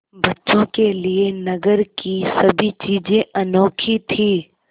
बच्चों के लिए नगर की सभी चीज़ें अनोखी थीं